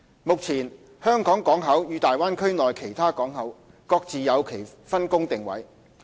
目前，香港港口與大灣區內其他港口各自有其分工定位。